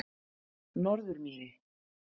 Norðurmýri